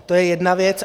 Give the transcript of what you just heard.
To je jedna věc.